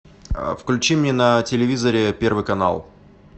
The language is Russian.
включи мне на телевизоре первый канал